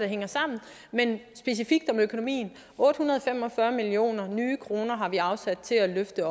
hænger sammen men specifikt om økonomien otte hundrede og fem og fyrre millioner nye kroner har vi afsat til at løfte